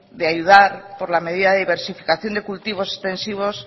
de ayudar por la medida de diversificación de cultivos extensivos